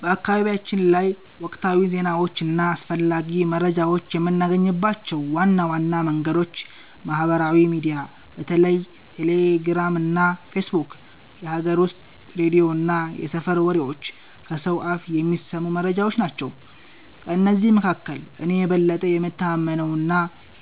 በአካባቢያችን ላይ ወቅታዊ ዜናዎችን እና አስፈላጊ መረጃዎችን የምናገኝባቸው ዋና ዋና መንገዶች ማህበራዊ ሚዲያ (በተለይ ቴሌግራም እና ፌስቡክ)፣ የሀገር ውስጥ ሬዲዮ እና የሰፈር ወሬዎች (ከሰው አፍ የሚሰሙ መረጃዎች) ናቸው። ከእነዚህ መካከል እኔ የበለጠ የምተማመነውና